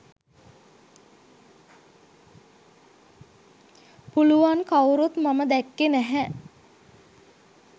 පුළුවන් කවුරුත් මම දැක්කේ නැහැ.